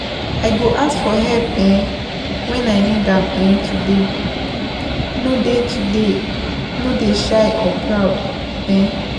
I go ask for help um when I need am um today, no dey today, no dey shy or proud. um